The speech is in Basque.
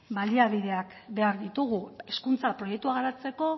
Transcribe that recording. baliabideak behar ditugu hezkuntza proiektua garatzeko